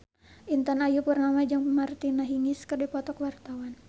Intan Ayu Purnama jeung Martina Hingis keur dipoto ku wartawan